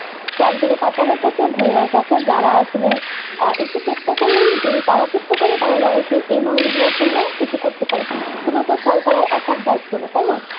চারিদিকে তাকালে প্রচুর ধনী মানুষ আছেন যারা আসলে আহ একটু চেষ্টা করলেই যদি তারা চেষ্টা করে তাহলে অবশ্যই এই মানুষগুলার জন্যে কিছু করতে পারে শুধু তো সরকারের একার দায়িত্ব নয় তাই না